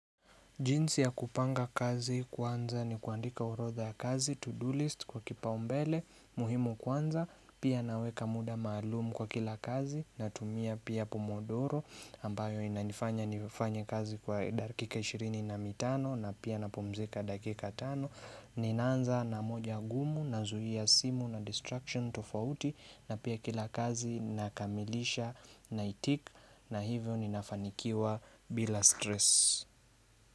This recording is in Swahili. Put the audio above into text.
Jinsi ya kupanga kazi kwanza ni kuandika orodha ya kazi, to-do list kwa kipa umbele, muhimu kwanza, pia naweka muda maalumu kwa kila kazi, natumia pia pomodoro, ambayo inanifanya nifanye kazi kwa dakika 20 na 5 na pia napumzika dakika 5, ninaanza na moja gumu, nazuia simu na distraction tofauti, na pia kila kazi nakamilisha na itik, na hivyo ninafanikiwa bila stress.